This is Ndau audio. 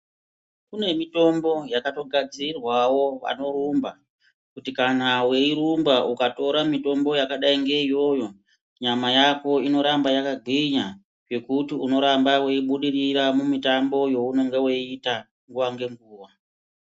Kune mitombo yakatogadzirirwawo anorumba kuti kana weirumba ukatore mitombo yakadai ngeiyoyo nyama yako inoramba yakagenya zvekuti unoramba weibudirira mumitambo yeunoita nguwa ngenguwa.